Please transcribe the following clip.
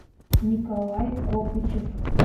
николай копычев